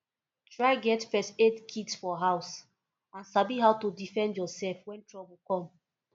try get first aid kit for house and sabi how to defend yourself when trouble come